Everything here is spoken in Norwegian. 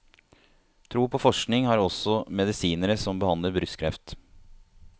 Tro på forskning har også medisinere som behandler brystkreft.